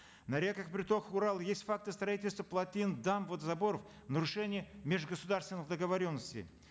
на реках притоках урала есть факты строительства плотин дамб водозаборов в нарушение межгосударственных договоренностей